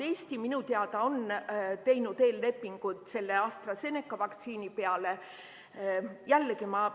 Eesti on minu teada teinud eellepingud AstraZeneca vaktsiini hankimiseks.